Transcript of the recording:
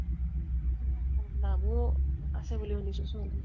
নামও আছে বুলি শুনিছো ছোৱালী।